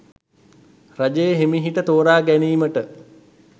රජය හෙමිහිට තෝරාගැනීමට